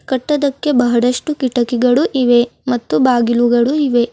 ಕಟ್ಟದಕ್ಕೆ ಬಹಳಷ್ಟು ಕಿಟಕಿಗಳು ಇವೆ ಮತ್ತು ಬಾಗಿಲುಗಳು ಇವೆ.